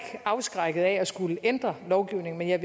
afskrækket af at skulle ændre lovgivningen men jeg